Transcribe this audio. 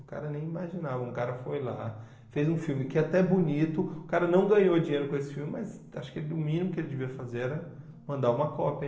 O cara nem imaginava, um cara foi lá, fez um filme que é até bonito, o cara não ganhou dinheiro com esse filme, mas acho que ele o mínimo que ele devia fazer era mandar uma cópia.